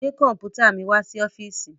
Gbé kọ̀ḿpùtà mi wá sí ọ́fíísì!